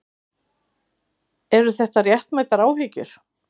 Eru það réttmætar áhyggjur?